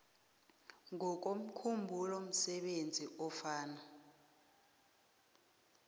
ngokomkhumbulo msebenzi ofana